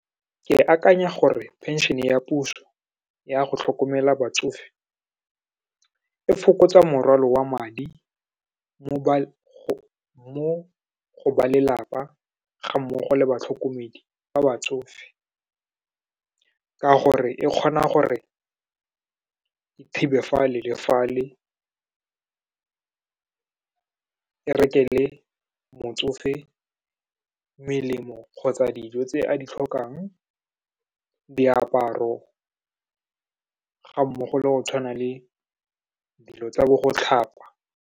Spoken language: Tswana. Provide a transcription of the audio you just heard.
Ke akanya gore pension-e ya puso yago tlhokomela batsofe, e fokotsa morwalo wa madi mo go ba lelapa, ga mmogo le batlhokomedi ba batsofe, ka gore e kgona gore e thibe fale le fale, e rekele motsofe melemo kgotsa dijo tse a di tlhokang, diaparo, ga mmogo le go tshwana le dilo tsa bo go tlhapa.